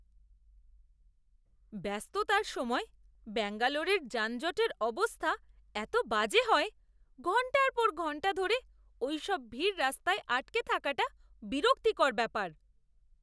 ব্যস্ততার সময় ব্যাঙ্গালোরের যানজটের অবস্থা এত বাজে হয়। ঘণ্টার পর ঘণ্টা ধরে ওইসব ভিড় রাস্তায় আটকে থাকাটা বিরক্তিকর ব্যাপার।